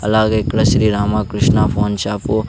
అలాగే ఇక్కడ Shri Ramakrishna phone shop --